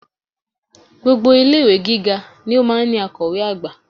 Gbogbo ilé-ìwé Gíga ni ó máa ń ní akọ̀wé àgbà